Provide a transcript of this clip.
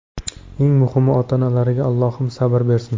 Eng muhimi, ota-onalariga Allohim sabr bersin”.